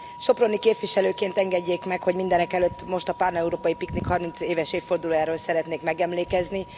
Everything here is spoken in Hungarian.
Soproni képviselőként engedjék meg, hogy mindenekelőtt most a Páneurópai Piknik 30 éves évfordulójáról szeretnék megemlékezni.